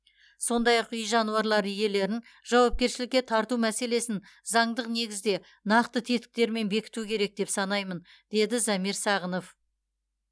сондай ақ үй жануарлары иелерін жауапкершілікке тарту мәселесін заңдық негізде нақты тетіктермен бекіту керек деп санаймын деді замир сағынов